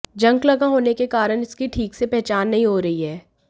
junk लगा होने के कारण इसकी ठीक से पहचान नहीं हो रही है